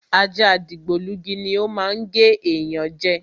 Ajá dìgbòlugi ni o má ń gé yan je